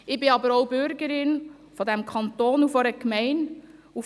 Ich bin aber auch Bürgerin dieses Kantons und einer Gemeinde.